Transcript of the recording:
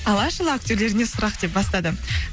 алашұлы актерлеріне сұрақ деп бастады